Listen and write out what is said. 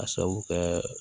A sababu kɛ